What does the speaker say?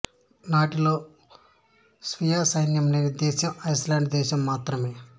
నాటోలో స్వీయ సైన్యం లేని దేశం ఐస్లాండ్ దేశం మాత్రమే